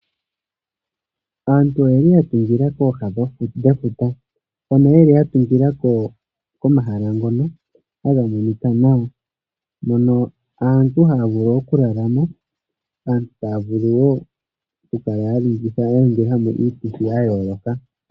Aantu oyeli ya tungila kooha dhefuta, hoka yeli ya tungila komahala ngoka haga monika nawa, moka aantu taya vulu oku lalamo, aantu taya vulu wo oku ningilamo iituthi ya yooloka.